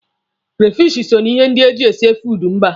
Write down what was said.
Krefishi so na ihe ndị eji esi food mba.